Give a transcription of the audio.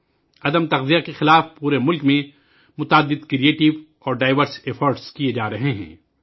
پورے ملک میں تغذیہ کی کمی کے خلاف بہت سی تخلیقی اور متنوع کوششیں کی جا رہی ہیں